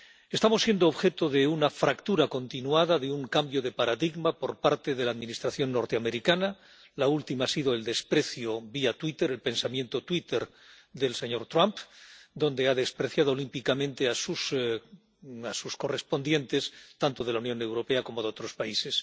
Estamos siendo objeto de una fractura continuada, de un cambio de paradigma por parte de la Administración norteamericana. La última ha sido el desprecio, vía Twitter, el pensamiento Twitter del señor Trump, donde ha despreciado olímpicamente a sus homólogos, tanto de la Unión Europea como de otros países.